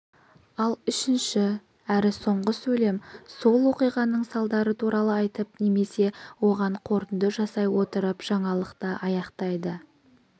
ал үшінші әрі соңғы сөйлем сол оқиғаның салдары туралы айтып немесе оған қорытынды жасай отырып жаңалықты аяқтайды